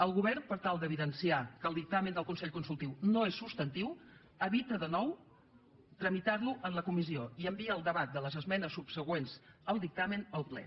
el govern per tal d’evidenciar que el dictamen del consell consultiu no és substantiu evita de nou tramitar lo en la comissió i envia el debat de les esmenes subsegüents al dictamen al ple